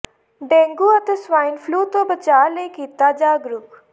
dengue ਤੇ swine flu ਤੋਂ ਬਚਾਅ ਲਈ ਕੀਤਾ ਜਾਗਰੂਕ